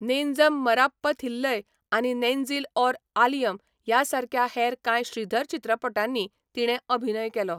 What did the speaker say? नेंजम मराप्पथिल्लय आनी नेंजिल ऑर आलयम ह्या सारक्या हेर कांय श्रीधर चित्रपटांनी तिणें अभिनय केलो.